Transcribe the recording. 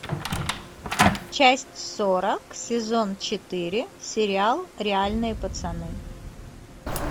часть сорок сезон четыре сериал реальные пацаны